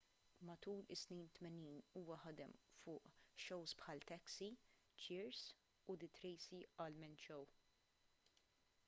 matul is-snin 80 huwa ħadem fuq shows bħal taxi cheers u the tracy ullman show